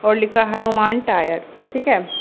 और लिखा हनुमान टायर्स ठीक है।